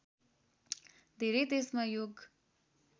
धेरै देशमा योग